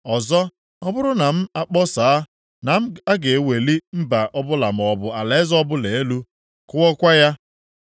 Ọzọ, ọ bụrụ na m akpọsaa na a ga-ewuli mba ọbụla maọbụ alaeze ọbụla elu, kụọkwa ya,